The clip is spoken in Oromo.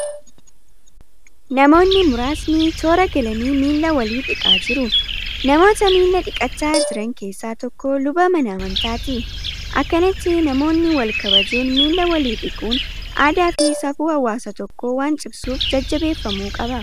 Namoonni muraasni toora galanii miilla walii dhiqaa jiru. Namoota miila dhiqachaa jiran keessaa tokko luba mana amantaati. Akkanatti namoonni wal kabajuun miilla walii dhiquun aadaa fi safuu hawaasa tokkoo waan cimsuuf jajjabeeffamuu qaba.